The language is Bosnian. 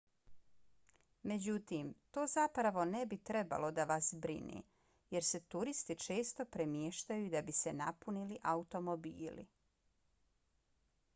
međutim to zapravo ne bi trebalo da vas brine jer se turisti često premještaju da bi se napunili automobili